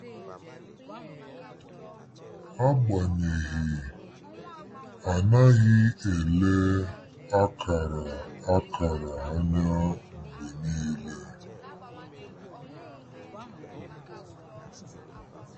Agbanyeghị, a naghị ele akara akara anya mgbe niile.